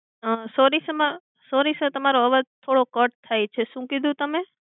અ Sorry sir, sorry sir તમારો અવાજ થોડો cut થાય છે શું કીધું તમે?